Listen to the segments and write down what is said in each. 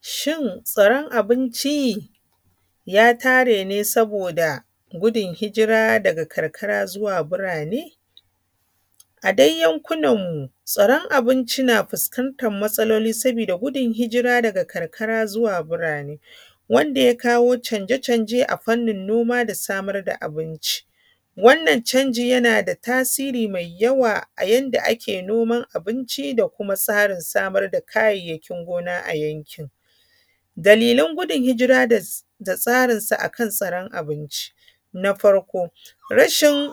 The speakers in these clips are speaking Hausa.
Shin tsaron abinci ya tare ne saboda gudun hijira daga karkara zuwa birane? A dai yankunan mu tsaron abinci na fuskantan matsaloli sabida gudun hijira daga karkara zuwa birane wanda ya kawo canje canje a fannin noma da samar da abinci. Wannan canjin yana da tasiri mai yawa a yanda ake noman abinci, da kuma tsarin samar da kayayyakin gona a yankin. Dalilan gudun hijira da tsarinsa a kan tsaron abinci. Na farko rashin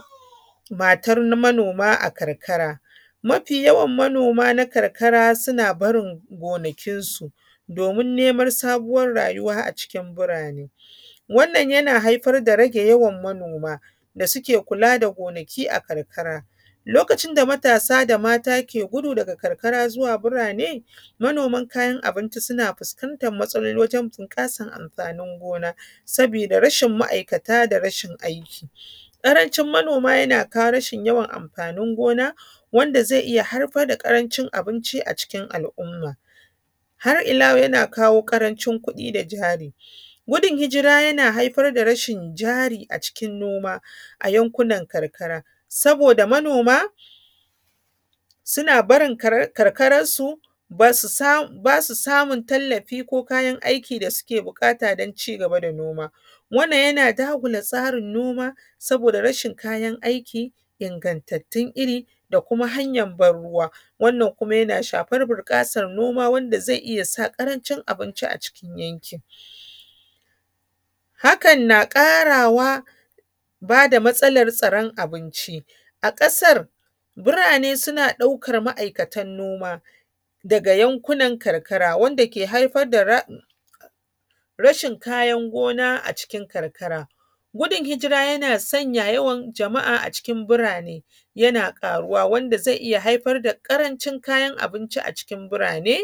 matar manoma a karkara. Mafi yawan manoma na karkara suna barin gonakin su domin neman sabuwar rayuwa a cikin birane. Wannan yana haifar da rage yawan manoma da suke kula da gonaki a karkara. Lokacin da matasa da mata ke gudu daga karkara zuwa birane, manoman kayan abinci suna fuskantan matsaloli wajan bunƙasan amfanin gona sabida rashin ma’aikata da rashin aiki. Ƙaranci manoma yana kawo rashin yawan amfanin gona wanda zai iya haifar da ƙarancin abinci a cikin al’umma. Har ila wa yau yana kawo ƙarancin kuɗi da jari. Gudun hijira yana haifar da rashin jari a cikin noma a yankunan karkara, saboda manoma suna barin karkaransu, ba su samun tallafi ko kayan aiki da suke buƙata don cigaba da noma. Wannan yana dagula tsarin noma, saboda rashin kayan aiki, ingantattun iri, da kuma hanyan ban ruwa. Wannan kuma yana shafar bunƙasa noma wanda zai iya sa ƙarancin abinci a cikin yankin. Hakan na ƙara wa ba da matsalar tsaron abinci a kasar. Birane suna ɗaukan ma’aikatan noma daga yankunan karkara wanda ke haifar da rashin kayan gona a cikin karkara. Gudun hijira yana sanya yawan jama’a a cikin birane, yana ƙaruwa wanda zai iya haifar da ƙarancin kayan abinci a cikin birane.